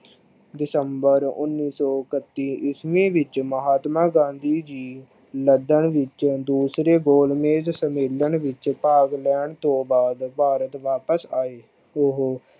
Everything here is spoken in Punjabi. december ਉਨੀ ਸੋ ਇੱਕਤੀ ਈਸਵੀ ਵਿੱਚ ਮਹਾਤਮਾ ਗਾਂਧੀ ਜੀ ਮਦਨ ਵਿਚ ਦੂਸਰੇ ਗੋਲ ਮੇਜ ਸੰਮੇਲਨ ਵਿਚ ਭਾਗ ਲੈਣ ਤੋਂ ਬਾਦ ਭਾਰਤ ਵਾਪਸ ਆਏ। ਉਹੋ